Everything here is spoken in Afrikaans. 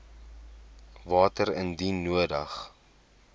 water indien nodig